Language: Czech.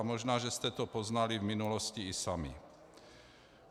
A možná, že jste to poznali v minulosti i sami.